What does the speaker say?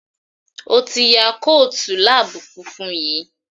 O tí ya Kóòtù lab funfun yí.